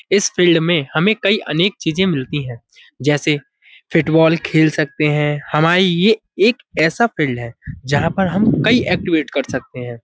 इस फील्ड में हमें कई अनेक चीज़े मिलती हैं जैसे फिटबाल खेल सकते हैं। हमाई ये एक ऐसा फील्ड है जहां पर हम कई एक्टिवेट कर सकते हैं।